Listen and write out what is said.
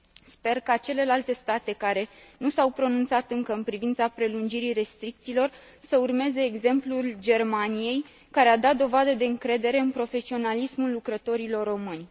Sper ca celelalte state, care nu s au pronunțat încă în privința prelungirii restricțiilor, să urmeze exemplul Germaniei care a dat dovadă de încredere în profesionalismul lucrătorilor români.